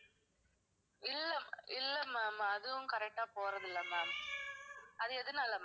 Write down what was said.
இல்லை, இல்லை ma'am அதுவும் correct ஆ போறது இல்லை ma'am அது எதுனால ma'am